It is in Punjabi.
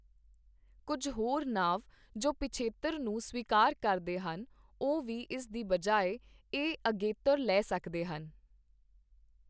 ਕੁੱਝ ਹੋਰ ਨਾਂਵ ਜੋ ਪਿਛੇਤਰ ਨੂੰ ਸਵੀਕਾਰ ਕਰਦੇ ਹਨ, ਉਹ ਵੀ ਇਸ ਦੀ ਬਜਾਏ ਇਹ ਅਗੇਤਰ ਲੈ ਸਕਦੇ ਹਨ।